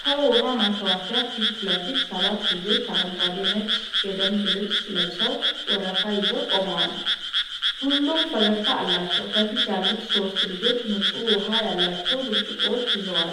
ከውሃ ማከፋፈያ ፊት ለፊት ሰባት ልጆች አረንጓዴና ነጭ የደንብ ልብስ ለብሰው ወረፋ ይዘው ቆመዋል። ሁሉም ፈገግታ አላቸው፣ ከፊት ያሉት ሶስቱ ልጆች ንጹህ ውሃ ያላቸው ብርጭቆዎች ይይዛሉ።